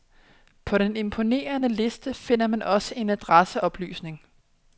På den imponerende liste finder man også en adresseoplysning.